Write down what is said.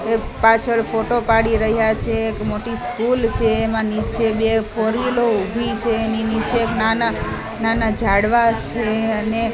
એ પાછળ ફોટો પાડી રહ્યા છે એક મોટી સ્કુલ છે એમાં નીચે બે ફોર વ્હીલો ઊભી છે એની નીચે એક નાના-નાના ઝાડવા છે અને --